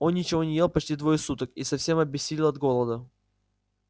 он ничего не ел почти двое суток и совсем обессилел от голода